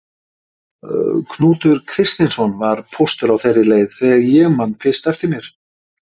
Knútur Kristinsson var póstur á þeirri leið þegar ég man fyrst eftir mér.